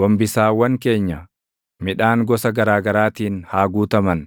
Gombisaawwan keenya, midhaan gosa garaa garaatiin haa guutaman.